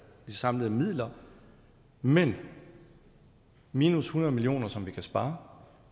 samlede midler men minus hundrede million kr som vi kan spare